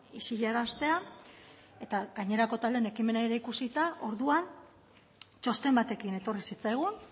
isilaraztea eta gainerako taldeen ekimenak ikusita orduan txosten batekin etorri zitzaigun